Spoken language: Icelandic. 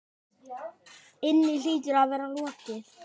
inni hlýtur að vera lokið.